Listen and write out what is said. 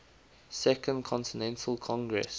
second continental congress